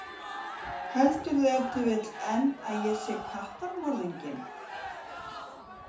Heldurðu ef til vill enn að ég sé kattamorðinginn?